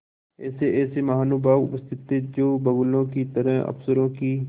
ऐसेऐसे महानुभाव उपस्थित थे जो बगुलों की तरह अफसरों की